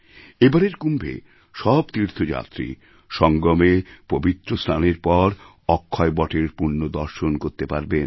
এবারের কুম্ভে সব তীর্থযাত্রী সঙ্গমে পবিত্র স্নানের পর অক্ষয় বটের পুণ্যদর্শন করতে পারবেন